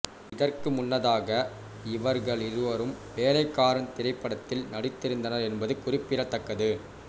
இதற்கு முன்னதாக இவர்களிருவரும் வேலைக்காரன் திரைப்படத்தில் நடித்திருந்தனர் என்பது குறிப்பிடத்தக்கது